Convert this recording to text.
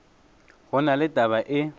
go na le taba e